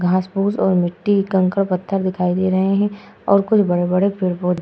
घास फूस और मिट्टी कंकड़ पत्थर दिखाई दे रहे हैं और कुछ बड़े-बड़े पेड़ पौधे --